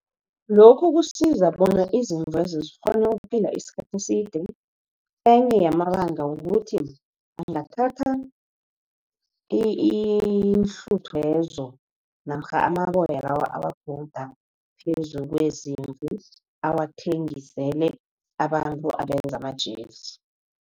Lokhu kusiza bona izimvezo zikghone ukuphila iskhathi eside, enye yamabanga ukuthi, angathatha iinhluthwezo. namkha amaboya lawa awagunda phezu kwezimvu, awathengisele abantu abenza amajezi.